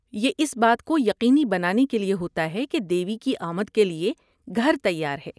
یہ اس بات کو یقینی بنانے کے لیے ہوتا ہے کہ دیوی کی آمد کے لیے گھر تیار ہے۔